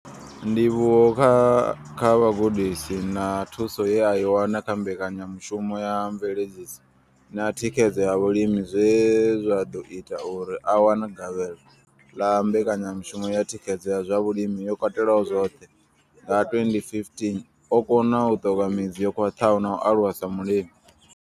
Ndivhuwo kha vhugudisi na thuso ye a i wana kha mbekanyamushumo ya mveledziso na thikhedzo ya vhalimi zwe zwa ḓo ita uri a wane gavhelo ḽa mbekanyamushumo ya thikhedzo ya zwa vhulimi yo katelaho zwoṱhe nga 2015, o kona u ṱoka midzi yo khwaṱhaho na u aluwa sa mulimi.